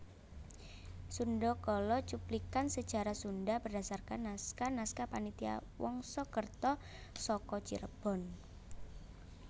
Sundhakala cuplikan sejarah Sundha berdasarkan naskah naskah Panitia Wangsakerta saka Cirebon